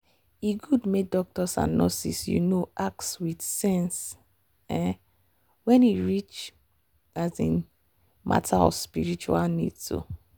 e good make doctors and nurses you know ask with sense um when e reach um matter of spiritual needs. um